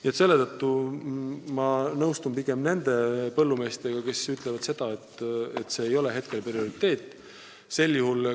Nii et ma nõustun pigem nende põllumeestega, kes ütlevad, et mahepõllumajandus ei ole praegu prioriteet.